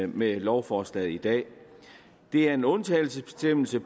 med lovforslaget i dag det er en undtagelsesbestemmelse